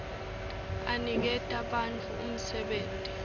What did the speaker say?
aniketa bantfu umsebenti